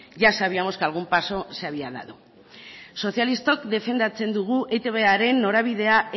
ya sabíamos que algún paso ya se había dado sozialistok defendatzen dugu eitbren norabidea